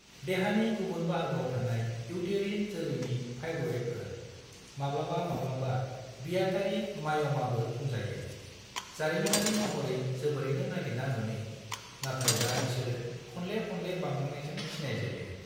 देहानि गुबुन बाहागोआव थानाय इउतेरिन जोलैनि फाइब्रएडफोर, माब्लाबा-माब्लाबा बियातारि माय'माबो बुंजायो, जारिमिनारि महरै जोबोरैनो नागिरना मोनै, नाथाय दा बिसोरो खनले-खनले बांलांनायजों सिनायजायो।